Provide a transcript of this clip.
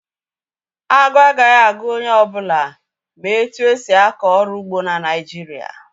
Aguru agaghị agu onye ọ bụla ma etu esi akọ ọrụ ugbo na Naịjirịa